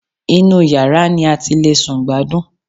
Inú yàrá ni a ti le sùn gbádùn